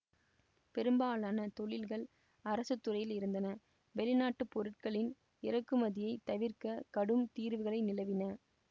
பெரும்பாலான தொழில்கள் அரசுத்துறையில் இருந்தன வெளிநாட்டுப் பொருட்களின் இறக்குமதியைத் தவிர்க்க கடும் தீர்வைகள் நிலவின